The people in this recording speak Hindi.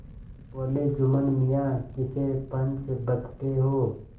बोलेजुम्मन मियाँ किसे पंच बदते हो